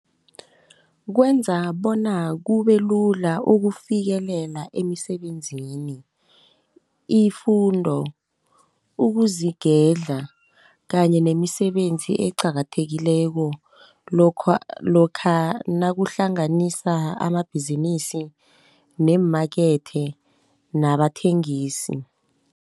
Kwenza bona kubelula ukufikelela emisebenzini, ifundo, ukuzigedla kanye nemisebenzi eqakathekileko lokha nakahlanganisa amabhizinisi neemakethe nabathengisi.